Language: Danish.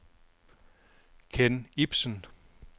Kenn Ipsen